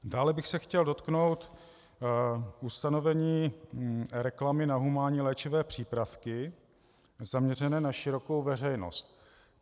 Dále bych se chtěl dotknout ustanovení reklamy na humánní léčivé přípravky zaměřené na širokou veřejnost.